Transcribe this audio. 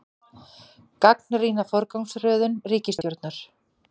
Gagnrýna forgangsröðum ríkisstjórnar